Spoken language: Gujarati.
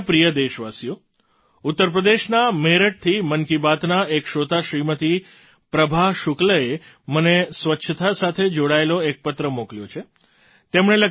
મારા પ્રિય દેશવાસીઓ ઉત્તર પ્રદેશના મેરઠથી મન કી બાતનાં એક શ્રોતા શ્રીમતી પ્રભા શુક્લએ મને સ્વચ્છતા સાથે જોડાયેલો એક પત્ર મોકલ્યો છે